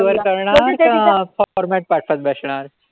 करणार का format पाठवत बसणार.